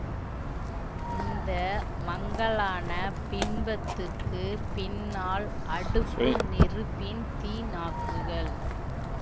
இந்த மங்கலான பின்பத்துக்குப் பின்னால் அடுப்பு நெருப்பின் தீ நாக்குகள்